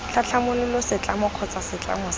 tlhatlhamolola setlamo kgotsa setlamo sa